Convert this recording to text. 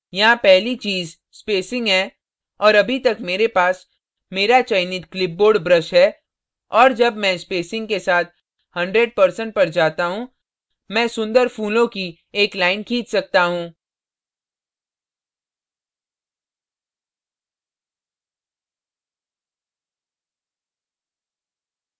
यहाँ पहली चीज़ spacing हैं और अभी तक मेरे पास मेरा चयनित clipboard brush है और जब मैं spacing के साथ 100% पर जाता हूँ मैं सुन्दर फूलों की एक line खींच सकता हूँ